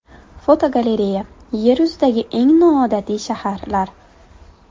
Fotogalereya: Yer yuzidagi eng noodatiy shaharlar.